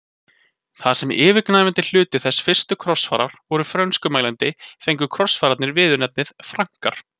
Þar sem yfirgnæfandi hluti þessara fyrstu krossfara voru frönskumælandi fengu krossfararnir viðurnefnið Frankar.